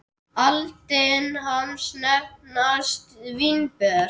Aldin hans nefnast vínber.